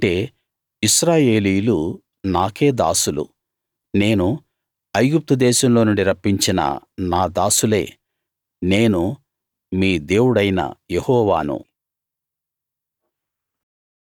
ఎందుకంటే ఇశ్రాయేలీయులు నాకే దాసులు నేను ఐగుప్తుదేశంలో నుండి రప్పించిన నా దాసులే నేను మీ దేవుడైన యెహోవాను